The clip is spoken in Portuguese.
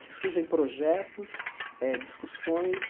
que surgem projetos, eh discussões.